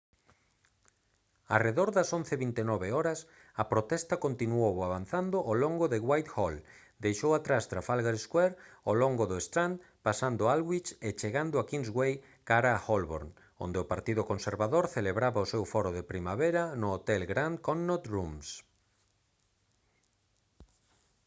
arredor das 11:29 h a protesta continuou avanzando ao longo de whitehall deixou atrás trafalgar square ao longo do strand pasando aldwych e chegando a kingsway cara a holborn onde o partido conservador celebraba o seu foro de primavera no hotel grand connaught rooms